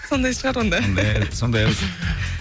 сондай шығар онда